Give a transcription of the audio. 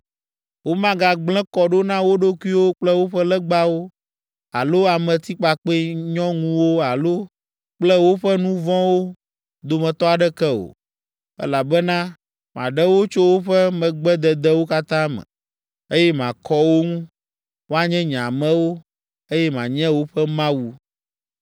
Womagagblẽ kɔ ɖo na wo ɖokuiwo kple woƒe legbawo alo ametikpakpɛ nyɔŋuwo alo kple woƒe nu vɔ̃wo dometɔ aɖeke o, elabena maɖe wo tso woƒe megbededewo katã me, eye makɔ wo ŋu. Woanye nye amewo, eye manye woƒe Mawu.